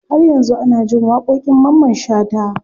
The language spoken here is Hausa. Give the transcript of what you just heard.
Har yanzu ana jin waƙoƙin mamman shata.